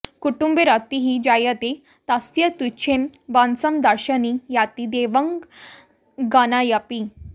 कुटुम्बे रतिः जायते तस्य तुच्छं वशं दर्शने याति देवांगनाऽपि